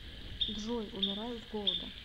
джой умираю с голода